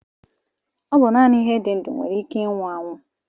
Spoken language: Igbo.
Ọ bụ naanị ihe dị ndụ nwere ike ịnwụ anwụ